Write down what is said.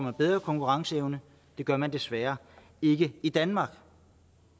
man bedre konkurrenceevne det gør man desværre ikke i danmark